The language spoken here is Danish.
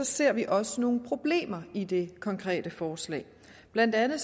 ser vi også nogle problemer i det konkrete forslag blandt andet